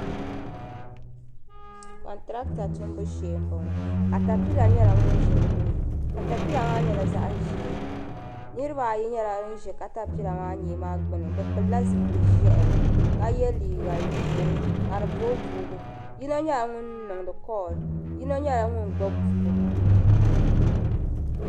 Contiraata tumbu shee m bo ŋɔ katapila nyela ŋun ʒe din ni katapila maa nyela zaɣʒee niribaayi nyela ban ʒe katapila maa nyee maa gbuni bɛ pilila zipili ʒehi ka ye liiga ʒee ka di booibooi yino nyela ŋun niŋdi koll yino nyela ŋun gbubi buku.